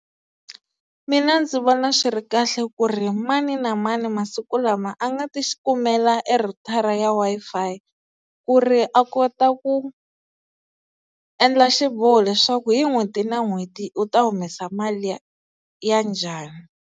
Mina ndzi vona swi ri kahle ku ri mani na mani masiku lama a nga ta xikumeka e rhutara ya Wi-Fi ku ri a kota ku endla xiboho leswaku hi n'hweti na n'hweti u ta humesa mali ya njhani?